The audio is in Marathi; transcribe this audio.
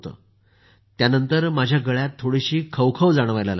त्यानंतर माझ्या गळ्यात थोडीशी खवखव जाणवायला लागली